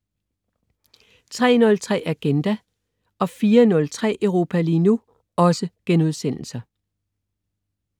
03.03 Agenda* 04.03 Europa lige nu*